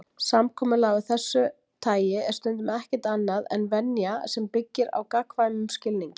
Samkomulag af þessu tagi er stundum ekkert annað en venja sem byggir á gagnkvæmum skilningi.